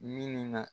Min na